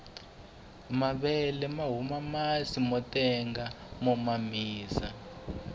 mavele mahuma masi motenga mo mamisa